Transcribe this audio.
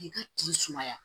K'i ka tigi sumaya